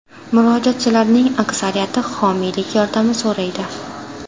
Murojaatchilarning aksariyati homiylik yordami so‘raydi.